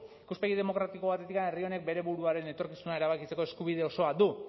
ikuspegi demokratiko batetik herri honek bere buruaren etorkizuna erabakitzeko eskubide osoa du